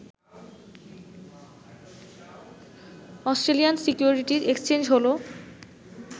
Australian security exchange হল